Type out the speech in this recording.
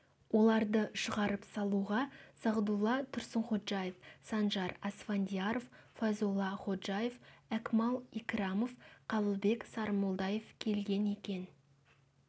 оларды шығарып салуға сағдулла тұрсынходжаев санжар асфандияров файзолла ходжаев әкмәл икрамов қабылбек сарымолдаев келген екен